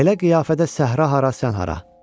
Belə qiyafədə səhra hara, sən hara?